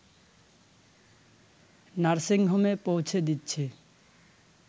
nursing হোমে পৌঁছে দিচ্ছি